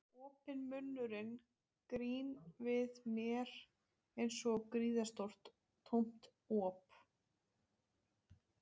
Opinn munnurinn gín við mér einsog gríðarstórt tómt op.